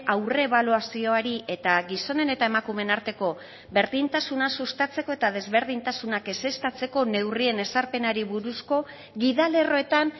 aurrebaluazioari eta gizonen eta emakumeen arteko berdintasuna sustatzeko eta desberdintasunak ezeztatzeko neurrien ezarpenari buruzko gidalerroetan